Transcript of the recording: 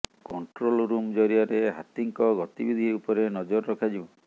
control room ଜରିଆରେ ହାତୀଙ୍କ ଗତିବିଧି ଉପରେ ନଜର ରଖାଯିବ